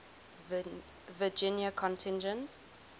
virginia contingent